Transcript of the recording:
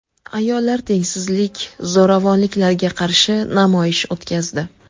Ayollar tengsizlik, zo‘ravonliklarga qarshi namoyish o‘tkazdi.